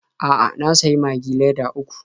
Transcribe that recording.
A'a, na sayi Magi leda uku.